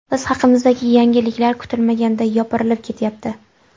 Biz haqimizdagi yangiliklar kutilmaganda yopirilib ketyapti.